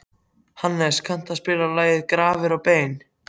Hannes, kanntu að spila lagið „Grafir og bein“?